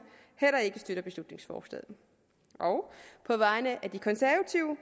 heller ikke støtter beslutningsforslaget og på vegne af de konservative